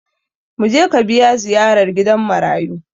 Mu je ka biya ziyarar gidan marayu!